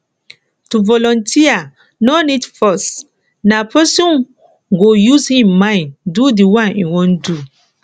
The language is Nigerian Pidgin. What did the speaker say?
to volunteer no need force na person go use im mind do di one im won won do